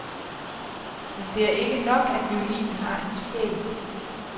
Men det er ikke nok, at violinen har en sjæl.